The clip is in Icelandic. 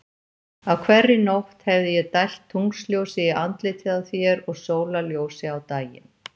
Á hverri nótt hefði ég dælt tunglsljósi í andlitið á þér og sólarljósi á daginn.